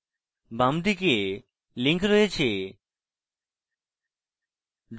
বাম দিকে links রয়েছে